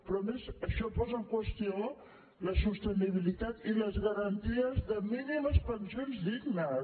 però a més això posa en qüestió la sostenibilitat i les garanties de mínimes pensions dignes